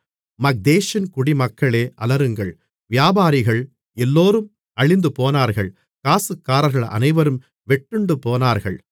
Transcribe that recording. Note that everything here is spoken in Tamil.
மக்தேஷின் குடிமக்களே அலறுங்கள் வியாபாரிகள் எல்லோரும் அழிந்துபோனார்கள் காசுக்காரர்கள் அனைவரும் வெட்டுண்டுபோனார்கள்